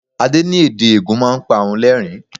Adé ní èdè Ègùn máa ń pa òun lerin-in.